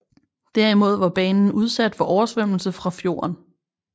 Derimod var banen udsat for oversvømmelse fra fjorden